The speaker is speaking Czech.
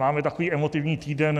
Máme takový emotivní týden.